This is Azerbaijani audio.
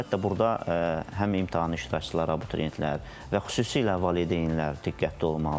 Əlbəttə, burda həm imtahan iştirakçıları, abituriyentlər və xüsusilə valideynlər diqqətli olmalıdır.